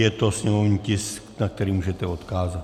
Je to sněmovní tisk, na který můžete odkázat.